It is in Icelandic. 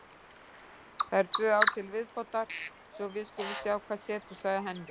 Það eru tvö ár til viðbótar svo við skulum sjá hvað setur, sagði Henry.